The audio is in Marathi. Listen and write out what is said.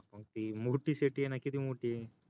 हा मग ती मोठी Murt CITY य ना किती मोठीय